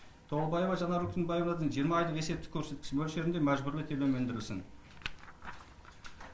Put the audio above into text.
толыбаева жанар өркембаевадан жиырма айлық есептік көрсеткіш мөлшерінде мәжбүрлі төлем өндірілсін